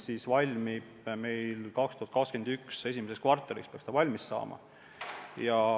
See valmib 2021. aasta esimeses kvartalis.